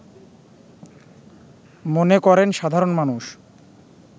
মনে করেন সাধারণ মানুষ